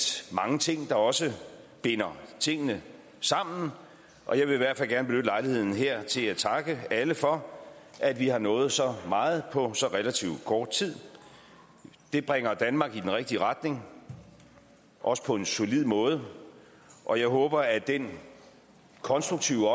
mange ting der også binder tingene sammen og jeg vil i hvert fald gerne benytte lejligheden her til at takke alle for at vi har nået så meget på så relativt kort tid det bringer danmark i den rigtige retning også på en solid måde og jeg håber at den konstruktive